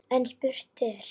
En spurt er